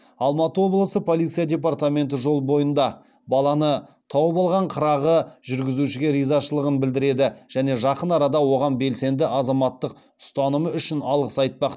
алматы облысы полиция департаменті жол бойында баланы тауып алған қырағы жүргізушіге ризашылығын білдіреді және жақын арада оған белсенді азаматтық ұстанымы үшін алғыс айтпақ